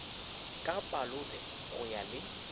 ka palote go ya le